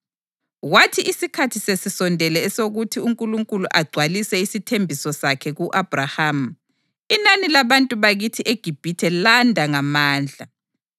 Kwathi isikhathi sesisondele esokuthi uNkulunkulu agcwalise isithembiso sakhe ku-Abhrahama, inani labantu bakithi eGibhithe landa ngamandla.